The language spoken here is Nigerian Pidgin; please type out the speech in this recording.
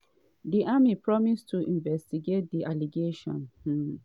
di army promise to investigate di allegations. um